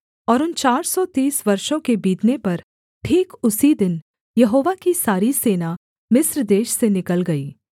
और उन चार सौ तीस वर्षों के बीतने पर ठीक उसी दिन यहोवा की सारी सेना मिस्र देश से निकल गई